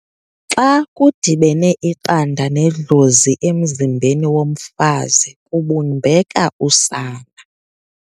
Xa kudibene iqanda nedlozi emzimbeni womfazi kubumbeka usana.